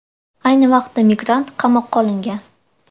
Ayni vaqtda migrant qamoqqa olingan.